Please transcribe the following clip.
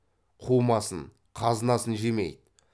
қумасын қазынасын жемейді